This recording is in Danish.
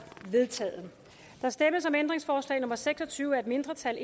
vedtaget der stemmes om ændringsforslag nummer seks og tyve af et mindretal